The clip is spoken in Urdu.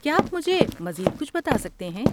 کیا آپ مجھے مزید کچھ بتا سکتے ہیں؟